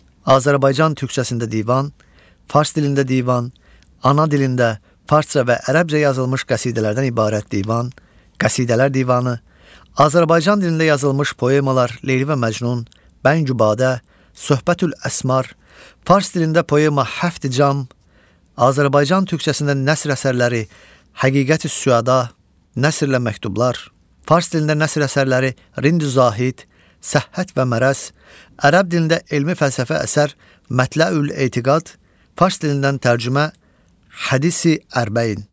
Azərbaycan türkcəsində divan, fars dilində divan, ana dilində, farsca və ərəbcə yazılmış qəsidələrdən ibarət divan, qəsidələr divanı, Azərbaycan dilində yazılmış poemalar Leyli və Məcnun, Bəngü Badə, Söhbətül-Əsmar, fars dilində poema Həft Cam, Azərbaycan türkcəsində nəsr əsərləri Həqiqətüs-Süəda, nəsr ilə məktublar, fars dilində nəsr əsərləri Rindü Zahid, Səhhət və Mərəz, ərəb dilində elmi-fəlsəfi əsər Mətləül-Etikad, fars dilindən tərcümə Hədisi Ərbəin.